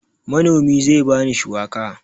Manomi zai ba ni shuwaka.